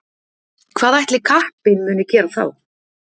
Hvað ætli kappinn muni gera þá?